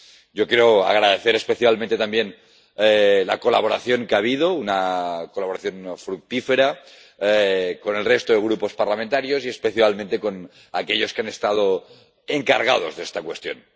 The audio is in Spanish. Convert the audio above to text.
Yo quiero agradecer especialmente también la colaboración que ha habido, una colaboración fructífera con el resto de grupos parlamentarios y, especialmente, con aquellos que han estado encargados de esta cuestión.